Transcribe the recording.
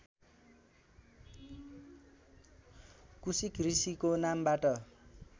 कुसिक ऋषिको नामबाट